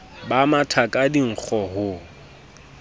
ba matha ka dinkgo ho